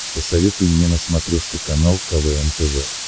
посоветуй мне на смотрешке канал квн тв